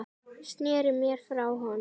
Sneri mér frá honum.